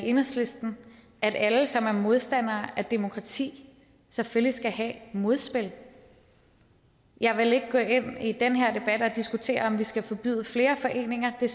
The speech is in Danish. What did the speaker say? enhedslisten at alle som er modstandere af demokrati selvfølgelig skal have modspil jeg vil ikke gå ind i den her debat og diskutere om vi skal forbyde flere foreninger det